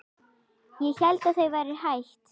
Ég hélt að þau væru hætt.